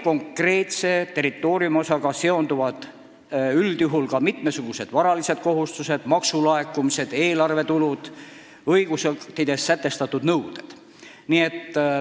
Konkreetse territooriumiosaga seonduvad üldjuhul ka mitmesugused varalised kohustused, maksulaekumised, eelarvetulud, õigusaktides sätestatud nõuded.